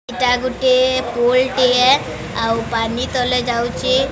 ଏଟା ଗୁଟେ ପୁଲ ଟିଏ। ଆଉ ପାନି ତଲେ ଯାଉଚି।